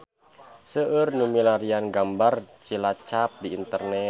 Seueur nu milarian gambar Cilacap di internet